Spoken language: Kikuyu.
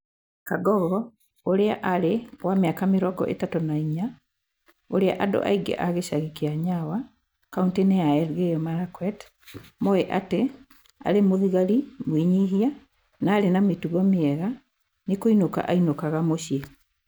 Kangogo ũrĩa arĩ wa mĩaka mĩrongo ĩthatu na inya, ũrĩa andũ aingĩ a gĩcagi kĩa Nyawa, kaũntĩ ya Elgeyo Marakwet, moĩ atĩ aarĩ mũthigari mwĩnyihia na arĩ na mĩtugo mĩega, nĩ kũinũka ainũkaga mũciĩ.